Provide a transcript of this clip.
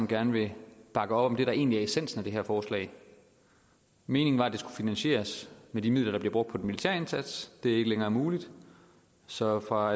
gerne vil bakke op om det der egentlig er essensen af det her forslag meningen var at det skulle finansieres med de midler der bliver brugt militære indsats det er ikke længere muligt så fra